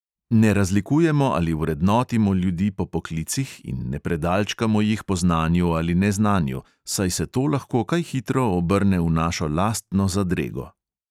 Ne razlikujemo ali vrednotimo ljudi po poklicih in ne predalčkamo jih po znanju ali neznanju, saj se to lahko kaj hitro obrne v našo lastno zadrego.